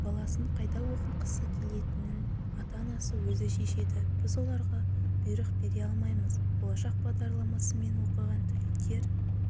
баласын қайда оқытқызғысы келетінін ата-анасы өзі шешеді біз оларға бұйрық бере алмаймыз болашақ бағдарламасымен оқыған түлектер